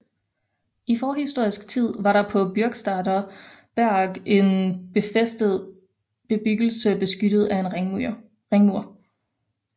I forhistorisk tid var der på Bürgstadter Berg en befæstedt bebyggelse beskyttet af en ringmur